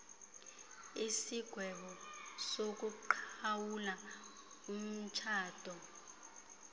isigwebo sokuqhawula umtshato